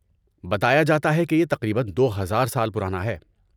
بتایا جاتا ہے کہ یہ تقریباً دو ہزار سال پرانا ہے